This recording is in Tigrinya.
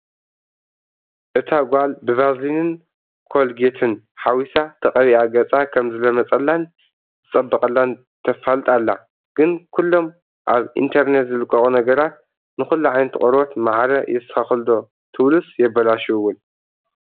እታ ጓል ብቫዝሊንን ኮልጌትን ሓዊሳ ተቐቢኣ ገፃ ከምዝለመፀላን ዝፀበቐላን ተፋልጥ ኣላ፡፡ ግን ኩሎም ኣብ ኢንተርኔት ዝልቐቑ ነገራት ንኹሉ ዓይነት ቆርበት ማዕረ የስተኻኽሉ ዶ ትብሉስ የበላሽው ውን?